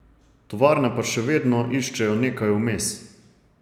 Tovarne pa še vedno iščejo nekaj vmes.